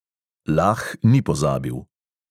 Lah ni pozabil.